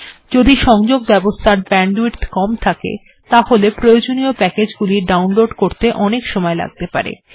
যদি সংযোগব্যবস্থার ব্যান্ডউইড্থ কম থাকে তাহলে প্রয়োজনীয় প্যাকেজ্গুলি ডাউনলোড্ করতে অনেক সময় লাগতে পারে